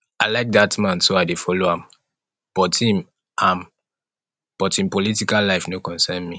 i like dat man so i dey follow am but im am but im political life no concern me